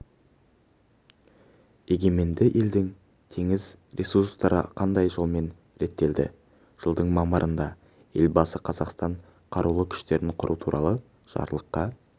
егеменді елдің теңіз ресурстары қандай жолмен реттелді жылдың мамырында елбасы қазақстанда қарулы күштерін құру туралы жарлыққа